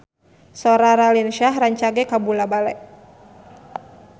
Sora Raline Shah rancage kabula-bale